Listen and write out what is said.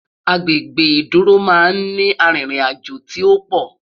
Agbègbè ìdúró má n ni àrin rìn àjọ tí òpò